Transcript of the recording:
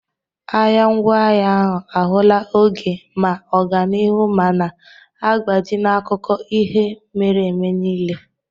Ahịa ngwaahịa ahụ ahụla oge ma ọganihu ma na-agbaji n'akụkọ ihe mere eme niile.